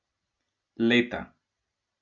Leta!